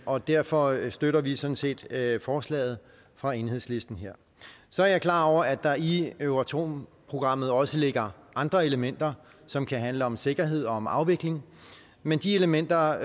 og derfor støtter vi sådan set forslaget fra enhedslisten så er jeg klar over at der i euratom programmet også ligger andre elementer som handler om sikkerhed og om afvikling men de elementer